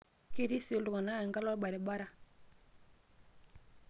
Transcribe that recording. ketii sii iltung'anak enkalo olbarabara